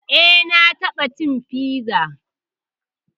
Eh na taɓa cin piza